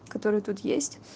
которые тут есть